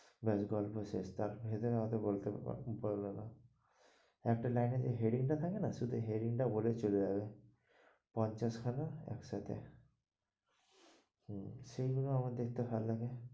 বেশ গল্প শেষ, তারপর ভেতররে অতো বললো না একটা লাইন এ যে heading টা থাকে না শুধু heading টা বলে চলে যাবে পঞ্চাশ খানা একসাথে হুম সেই গুলো আমার দেখতে ভালো লাগে।